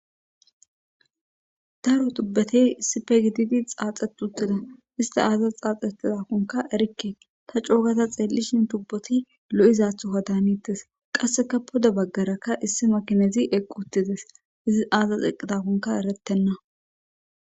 daro tubbete sipegididi xaaxetutida ista aazas xaaxetizakonka erikke ta cookata xeellishin tubboti lo7izathoka daanittes qasseka poda baggarakka issi makinezi eqqu uttides izi aazas eqidakonka erettenna